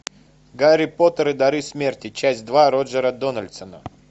гарри поттер и дары смерти часть два роджера дональдсона